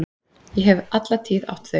Ég hef alla tíð átt þau.